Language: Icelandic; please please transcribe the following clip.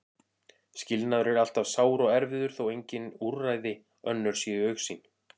Skilnaður er alltaf sár og erfiður þó að engin úrræði önnur séu í augsýn.